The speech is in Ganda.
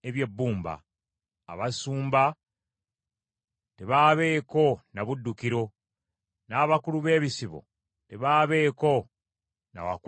Abasumba tebaabeeko na buddukiro, n’abakulu b’ebisibo tebaabeeko na wa kwekweka.